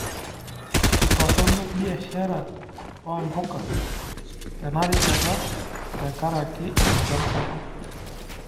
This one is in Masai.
Itorrono biashara oompuka tenarishata t4nkaraki enchan sapuk.